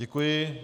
Děkuji.